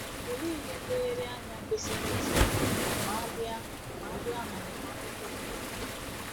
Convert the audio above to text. Olee ihe nlereanya anyị kwesịrị izere ma a bịa ma a bịa n’ọmụmụ akwụkwọ ederede?